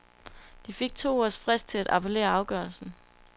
De fik to ugers frist til at appellere afgørelsen.